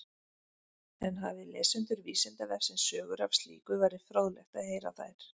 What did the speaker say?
En hafi lesendur Vísindavefsins sögur af slíku væri fróðlegt að heyra þær.